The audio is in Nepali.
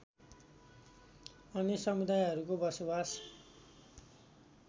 अन्य समुदायहरूको बसोबास